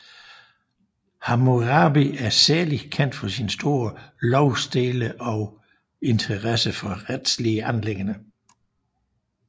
Hammurabi er særligt kendt for sin store lovstele og interesse for retslige anliggender